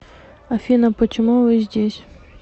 афина почему вы здесь